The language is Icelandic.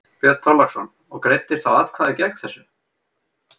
Björn Þorláksson: Og greiddir þá atkvæði gegn þessu?